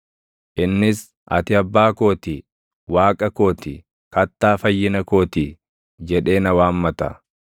Innis, ‘Ati Abbaa koo ti; Waaqa koo ti, Kattaa Fayyina koo ti’ jedhee na waammata.